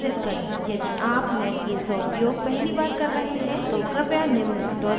यदि आप netbeans का उपयोग पहली बार कर रहे हैं तो कृपया निम्न tutorial देखें